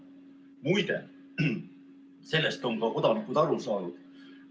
Muide, sellest on ka kodanikud aru saanud.